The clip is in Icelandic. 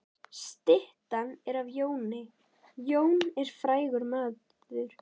Styttan er af Jóni. Jón er frægur maður.